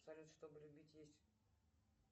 салют чтобы любить есть